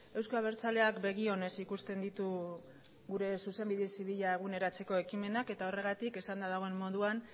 euzko abertzaleak begi onez ikusten ditu gure zuzenbide zibila eguneratzeko ekimenak eta horregatik esanda dagoen moduan